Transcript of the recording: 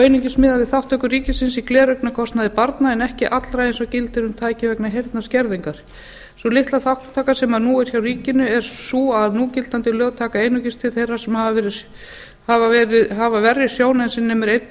einungis miðað við þátttöku ríkisins í gleraugnakostnaði barna en ekki allra eins og gildir um tæki vegna heyrnarskerðingar sú litla þátttaka sem nú er hjá ríkinu er sú að núgildandi lög taka einungis til þeirra sem hafa verri sjón en sem nemur einum